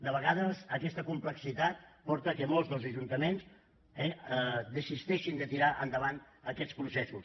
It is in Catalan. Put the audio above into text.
de vegades aquesta complexitat porta que molts dels ajuntaments eh desisteixin de tirar endavant aquests processos